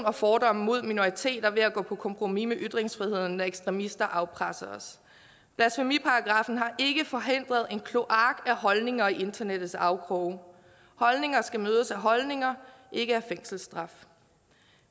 og fordomme mod minoriteter ved at gå på kompromis med ytringsfriheden når ekstremister afpresser os blasfemiparagraffen har ikke forhindret en kloak af holdninger i internettets afkroge holdninger skal mødes af holdninger ikke af fængselsstraf